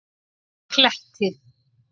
Kletti